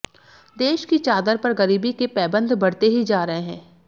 देश की चादर पर गरीबी के पैबंद बढ़ते ही जा रहे हैं